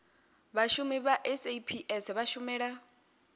vhashumi vha saps vha shumela